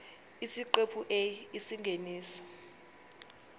isiqephu a isingeniso